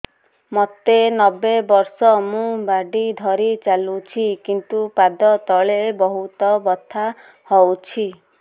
ମୋତେ ନବେ ବର୍ଷ ମୁ ବାଡ଼ି ଧରି ଚାଲୁଚି କିନ୍ତୁ ପାଦ ତଳ ବହୁତ ବଥା ହଉଛି